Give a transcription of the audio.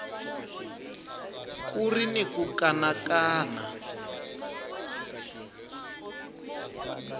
ku ri ni ku kanakana